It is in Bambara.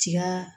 Tiga